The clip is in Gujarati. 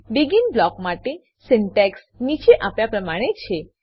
બેગિન બ્લોક માટે સિન્ટેક્સ નીચે આપ્યા પ્રમાણે છે